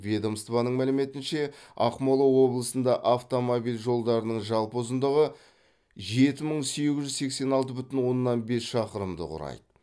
ведомствоның мәліметінше ақмола облысында автомобиль жолдарының жалпы ұзындығы жеті мың сегіз жүз сексен алты бүтін оннан бес шақырымды құрайды